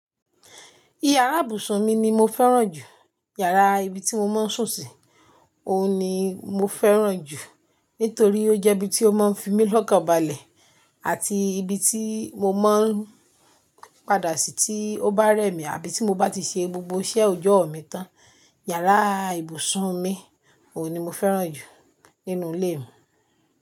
Ìyàrá ìbùsùn mi ni mo fẹ́ràn jù. Yàrá ibi tí mo máa ń sùn sí, òun ni mo fẹ́ràn jù. Nítorí ọ jẹ́ ibi tí ó máa ń fi mí lọ́kànbalẹ̀ àti ibi tí mo máa ń padà sí tí ó bá rẹ̀ mí àbí tí mo bá ti ṣe gbogbo iṣẹ́ òjọ́ mi tán. Yàrá ìbùsùn mi, òun ni mo fẹ́ràn jù nínú ilé mi.